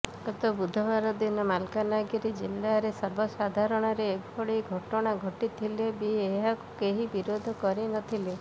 ଗତ ବୁଧବାର ଦିନ ମାଲକାନଗିରି ଜିଲ୍ଲାରେ ସର୍ବସାଧାରଣରେ ଏଭଳି ଘଟଣା ଘଟିଥିଲେ ବି ଏହାକୁ କେହି ବିରୋଧ କରିନଥିଲେ